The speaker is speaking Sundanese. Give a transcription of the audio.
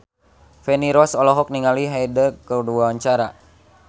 Feni Rose olohok ningali Hyde keur diwawancara